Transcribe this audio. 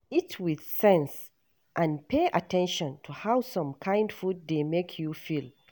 eat with sense and pay at ten tion to how some kind food dey make you feel